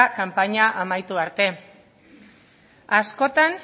kanpaina amaitu arte askotan